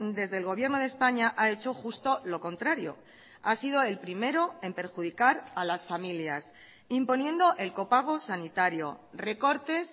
desde el gobierno de españa ha hecho justo lo contrario ha sido el primero en perjudicar a las familias imponiendo el copago sanitario recortes